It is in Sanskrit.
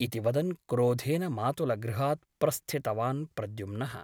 इति वदन् क्रोधेन मातुलगृहात् प्रस्थितवान् प्रद्युम्नः ।